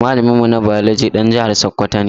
Malamin mu na biology ɗan jihar sakwwato ne